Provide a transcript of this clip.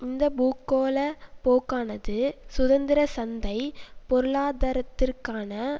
இந்த பூகோள போக்கானது சுதந்திர சந்தை பொருளாதரத்திற்கான